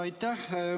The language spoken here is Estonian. Aitäh!